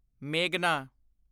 ਮੇਘਨਾ